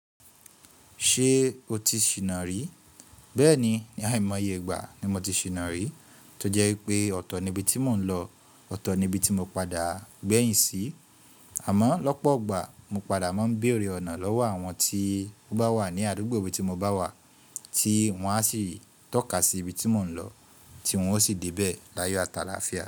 Ṣé o ti ṣìná rí? Bẹ́ẹ̀ni, ní àìmọye ìgbà ni mo ti ṣìná rí, tó jẹ́ wípé ọ̀tọ̀ ni ibi tí mò ń lọ, ọ̀tọ̀ ni ibi tí mo padà gbẹ̀yìn sí. Àmọ́ lọ́pọ̀ ọgbà mo padà máa ń béèrè ọ̀nà lọ́wọ́ àwọn tí ó bá wà ní àdúgbò ibi tí mo bá wà, tí wọ́n á sì i tọ́ka sí ibi tí mò ń lọ, tí wọ́n ó sì débẹ̀ layo ati làáfíà.